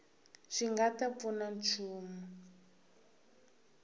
swi nga ta pfuna nchumu